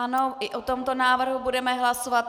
Ano, i o tomto návrhu budeme hlasovat.